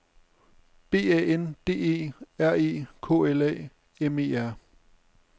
B A N D E R E K L A M E R